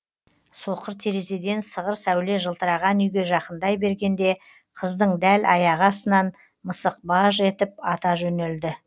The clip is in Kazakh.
соқыр терезеден сығыр сәуле жылтыраған үйге жақындай бергенде қыздың дәл аяғы астынан мысық баж етіп ата жөнелді